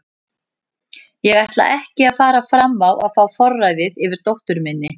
Ég ætla ekki að fara fram á að fá forræðið yfir dóttur minni.